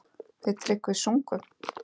Við Tryggvi sungum